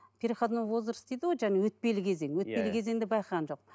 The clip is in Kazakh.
переходной возраст дейді ғой жаңа өтпелі кезең иә өтпелі кезең де байқаған жоқ